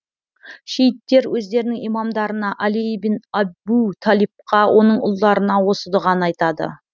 шииттер өздерінің имамдарына әли ибн әбу талибқа оның ұлдарына осы дұғаны айтады